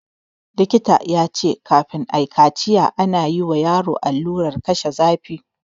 Likita ya ce kafin ayi kaciya ana yi wa yaro alluran kashe zafi